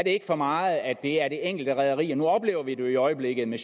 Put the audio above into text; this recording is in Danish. ikke for meget at det er det enkelte rederi nu oplever vi det jo i øjeblikket med